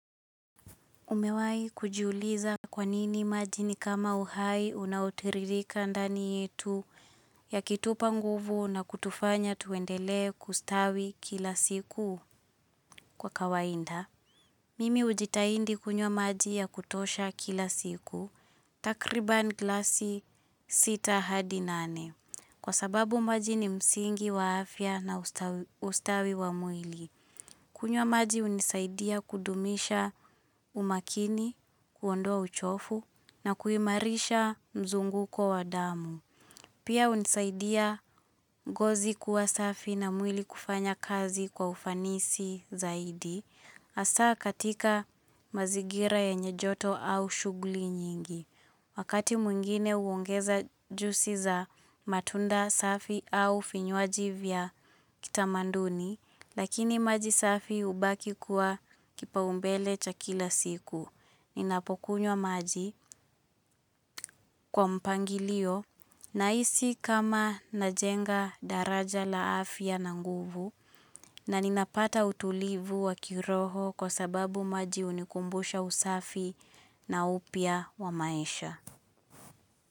Umewai kujiuliza kwanini maji ni kama uhai unaotiririka ndani yetu ya kutupa nguvu na kutufanya tuendelee kustawi kila siku kwa kawainda. Mimi hujitaindi kunywa maji ya kutosha kila siku takriban glasi sita hadi nane kwa sababu maji ni msingi wa afya na ustawi wa mwili. Kunywa maji hunisaidia kudumisha umakini, kuondoa uchovu na kuimarisha mzunguko wa damu. Pia hunisaidia ngozi kuwa safi na mwili kufanya kazi kwa ufanisi zaidi. hAsaa katika mazigira yenye joto au shughuli nyingi. Wakati mwingine uongeza jusi za matunda safi au finywaji vya kitamanduni. Lakini maji safi hubaki kuwa kipaumbele cha kila siku. Ninapokunywa maji kwa mpangilio nahisi kama najenga daraja la afya na nguvu na ninapata utulivu wa kiroho kwa sababu maji hunikumbusha usafi na upya wa maisha.